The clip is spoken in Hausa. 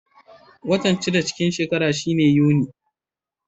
Watan shida cikin shekara shine Yuni.